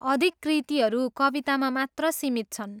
अधिक कृतिहरू कवितामा मात्र सीमित छन्।